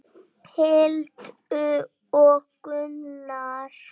Hildur og Gunnar.